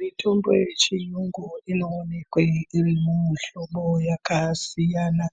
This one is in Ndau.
Mutombo wechirungu unoonekwa uri mumuhlobo wakasiyana-siyana